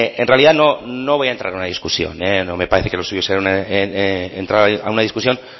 en realidad no voy a entrar en una discusión no me parece que lo suyo sea entrar a una discusión